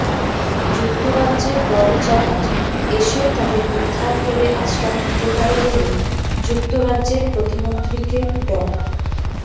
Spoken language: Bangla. যুক্তরাজ্যের রয়েল জাহাজ এসেও তাদের উদ্ধার করে আশ্রয় দিতে পারে বলে যুক্তরাজ্যের প্রতিমন্ত্রীকে ড